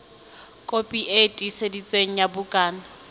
kopi e tiiseditsweng ya bukana